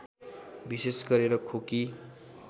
विशेष गरेर खोकी